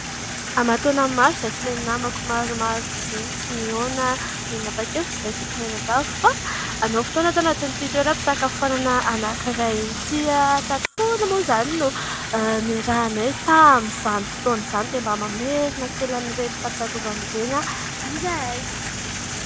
Aman-taonan'ny maro izahay sy ilay namako maromaro izay tsy nihaona dia mba nanapa-kevitra izahay fito mianadahy fa hanao fotoana ato anatin'ity toeram-pisakafoanana anankiray ity. Tato foana moa izany no niarahanay tamin'izany fotoan'izany dia mba mamerina kely an'ireny fahatsiarovana ireny izahay.